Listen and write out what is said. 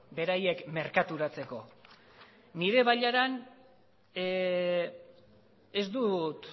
beraiek merkaturatzeko nire bailaran ez dut